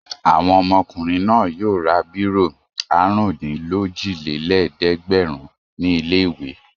Àwọn ọmọkùnrin náà yóò ra bírò àrùndínlójìlélẹ́ẹ̀dẹ́gbẹ̀rún ní ilé-ìwé.